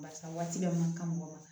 Barisa waati bɛɛ man kan mɔgɔw ma